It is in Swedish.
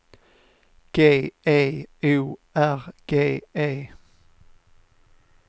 G E O R G E